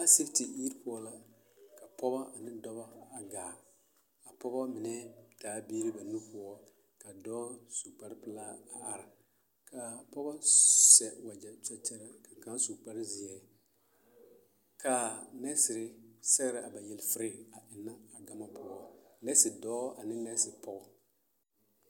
asipiti yiri poɔ la ka pɔgba ane dɔba a gaa a pɔgba mine taa la biiri ba nu poɔ